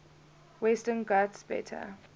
western ghats better